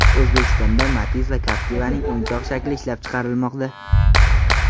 O‘zbekistonda Matiz va Captiva’ning o‘yinchoq shakli ishlab chiqarilmoqda.